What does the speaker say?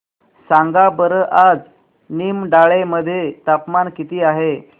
सांगा बरं आज निमडाळे मध्ये तापमान किती आहे